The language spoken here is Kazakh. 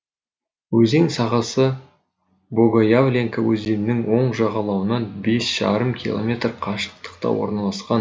өзен сағасы богоявленка өзенінің оң жағалауынан бес жарым километр қашықтықта орналасқан